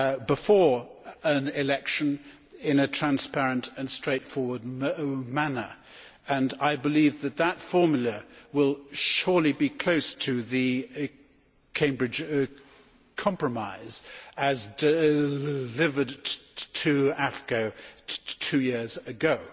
before an election in a transparent and straightforward manner, and I believe that this formula will surely be close to the Cambridge compromise, as delivered to AFCO two years ago.